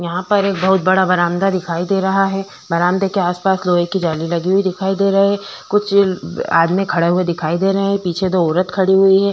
यहाँ पर एक बहुत बड़ा बरामदा दिखाई दे रहा है बरामदे के आसपास लोहे जाली लगी हुई दिखाई दे रही है कुछ आदमी खड़े हुए दिखाई दे रहे हैं पीछे दो औरत खड़ी हुई है।